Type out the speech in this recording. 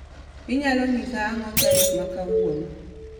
Inyalo nyisa ang'o tarik ma kawuono